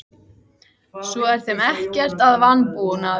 Svo er þeim ekkert að vanbúnaði.